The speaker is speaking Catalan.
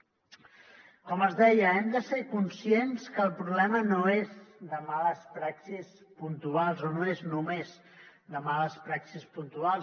com els deia hem de ser conscients que el problema no és de males praxis puntuals o no és només de males praxis puntuals